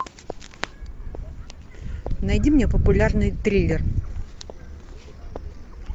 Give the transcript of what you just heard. найди мне популярный триллер